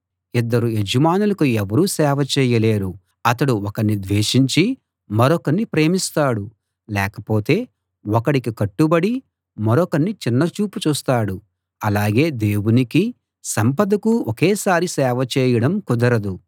ఇద్దరు యజమానులకు ఎవరూ సేవ చేయలేరు అతడు ఒకణ్ణి ద్వేషించి మరొకణ్ణి ప్రేమిస్తాడు లేకపోతే ఒకడికి కట్టుబడి మరొకణ్ణి చిన్నచూపు చూస్తాడు అలాగే దేవునికీ సంపదకూ ఒకేసారి సేవ చేయడం కుదరదు